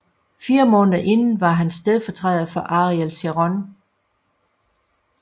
Fire måneder inden var han stedfortræder for Ariel Sharon